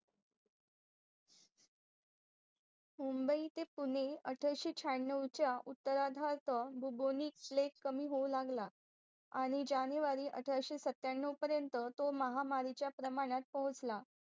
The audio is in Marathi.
मुंबई ते पुणे अठराशे श्यानवच्या उत्तराधार्त कमी होऊ लागला आणि JANUARY अठराशे सत्यानव पर्यंत तो महामारीचा प्रमाणात पोहोचला